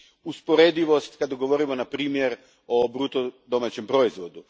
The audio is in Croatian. usporedivost kad govorimo, na primjer, o bruto domaćem proizvodu.